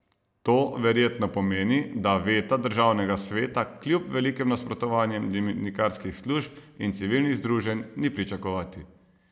To verjetno pomeni, da veta državnega sveta kljub velikim nasprotovanjem dimnikarskih služb in civilnih združenj ni pričakovati.